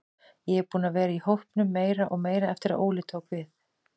Ég er búinn að vera í hópnum meira og meira eftir að Óli tók við.